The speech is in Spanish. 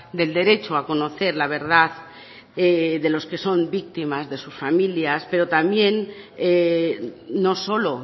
del derecho a conocer la verdad de los que son víctimas de sus familias pero también no solo